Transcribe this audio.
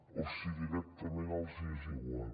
o si directament els hi és igual